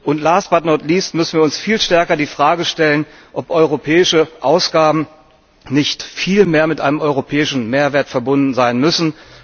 Und last, but not least müssen wir uns viel stärker die Frage stellen, ob europäische Ausgaben nicht viel mehr mit einem europäischen Mehrwert verbunden sein müssen.